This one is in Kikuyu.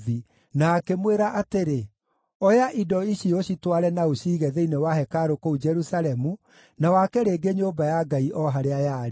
na akĩmwĩra atĩrĩ, ‘Oya indo ici ũcitware na ũciige thĩinĩ wa hekarũ kũu Jerusalemu, na wake rĩngĩ nyũmba ya Ngai o harĩa yarĩ.’